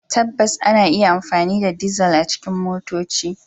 Tabbas, ana iya amfani da dizal a cikin motoci.